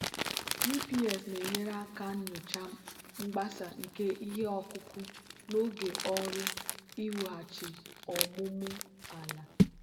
gps na-enyere aka nyochaa mgbasa nke ihe ọkụkụ n'oge ọrụ iwughachi ọmụmụ ala.